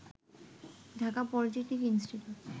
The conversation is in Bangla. Dhaka polytechnic institute